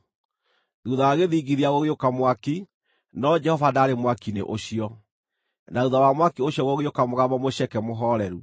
Thuutha wa gĩthingithia gũgĩũka mwaki, no Jehova ndaarĩ mwaki-inĩ ũcio, na thuutha wa mwaki ũcio gũgĩũka mũgambo mũceke, mũhooreru.